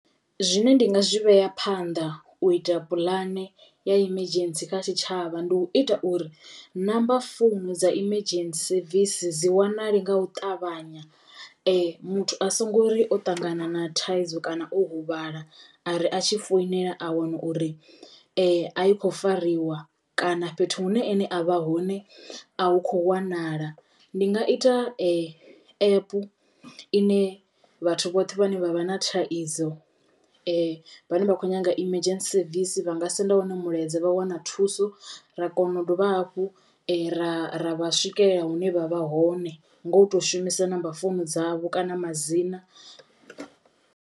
Zwine ndi nga zwi vhea phanḓa u ita puḽane ya emergency kha tshitshavha ndi u ita uri number founu dza emergency service dzi wanale nga u ṱavhanya muthu a songo ri o ṱangana na thaidzo kana o huvhala ari a tshi foinela a wana uri a i kho fariwa kana fhethu hune ene a vha hone a hu kho wanala. Ndi nga ita app ine vhathu vhoṱhe vhane vha vha na thaidzo vhane vha kho nyaga emergency service vha nga senda wone mulaedza vha wana thuso ra kona u dovha hafhu ra ra vha swikelela hune vha vha hone ngo to u shumisa number founu dzavho kana madzina.